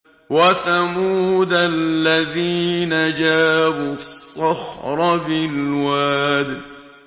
وَثَمُودَ الَّذِينَ جَابُوا الصَّخْرَ بِالْوَادِ